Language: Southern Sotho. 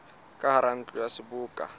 ka hara ntlo ya seboka